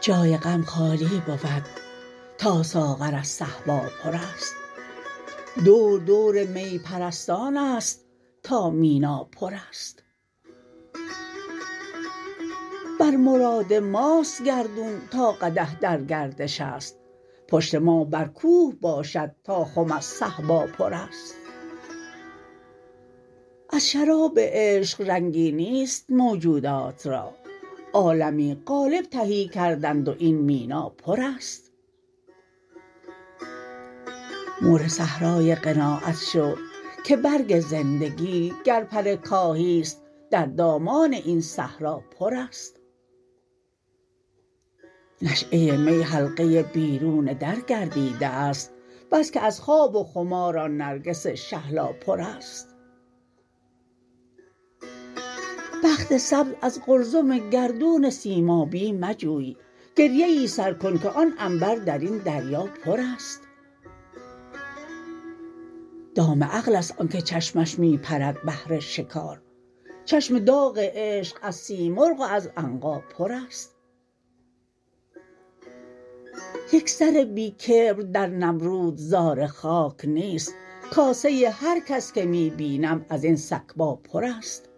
جای غم خالی بود تا ساغر از صهبا پرست دور دور می پرستان است تا مینا پرست بر مراد ماست گردون تا قدح در گردش است پشت ما بر کوه باشد تا خم از صهبا پرست از شراب عشق رنگی نیست موجودات را عالمی قالب تهی کردند و این مینا پرست مور صحرای قناعت شو که برگ زندگی گر پر کاهی است در دامان این صحرا پرست نشأه می حلقه بیرون در گردیده است بس که از خواب و خمار آن نرگس شهلا پرست بخت سبز از قلزم گردون سیمابی مجوی گریه ای سر کن که آن عنبر درین دریا پرست دام عقل است آن که چشمش می پرد بهر شکار چشم دام عشق از سیمرغ و از عنقا پرست یک سر بی کبر در نمرود زار خاک نیست کاسه هر کس که می بینم ازین سکبا پرست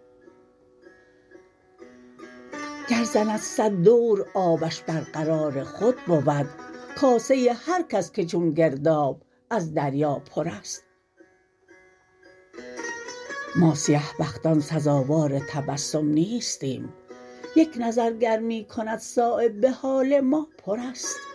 گر زند صد دور آبش بر قرار خود بود کاسه هر کس که چون گرداب از دریا پرست ما سیه بختان سزاوار تبسم نیستیم یک نظر گر می کند صایب به حال ما پرست